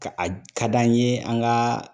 Ka a ka d'an ye an ga